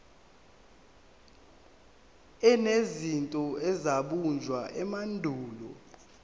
enezinto ezabunjwa emandulo